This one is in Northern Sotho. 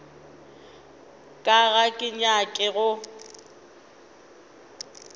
ka ga ke nyake go